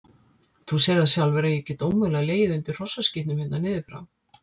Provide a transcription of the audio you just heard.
Þú sérð það sjálfur að ég get ómögulega legið undir hrossaskítnum hérna niður frá.